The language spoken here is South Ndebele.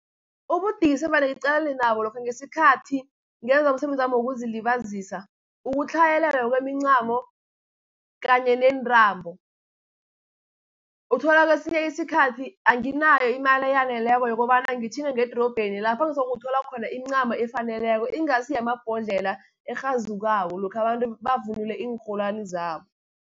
Ubudisi evane ngiqalene nabo lokha ngesikhathi ngenza umsebenzami wokuzilibazisa, ukutlhayelelwa kwemincamo kanye neentrambo. Uthola kesinye isikhathi anginayo imali eyaneleko yokobana ngitjhinge ngedorobheni, lapha ngizokuthola khona imincamo efaneleko, ingasi yamabhodlelo erhazukako lokha abantu bavunule iinrholwani zabo.